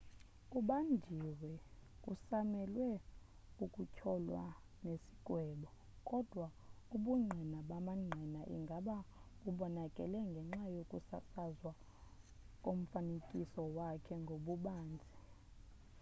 ubanjiwe kusamelwe ukutyholwa nesigwebo kodwa ubungqina bamangqina ingaba bubonakele ngenxa yokusasazwa komfanekiso wakhe ngobubanzi